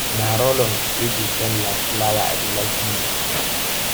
na rollon wey dey scent like flower i dey like use